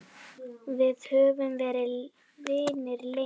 Við höfum verið vinir lengi.